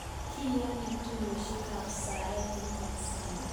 Kiyani tuiyosek ab saet eng Tansania